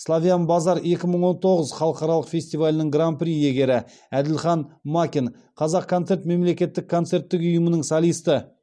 славян базар екі мың он тоғыз халықаралық фестивалінің гран при иегері әділхан макин қазақконцерт мемлекеттік концерттік ұйымының солисті